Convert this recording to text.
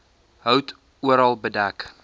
hout oral bedek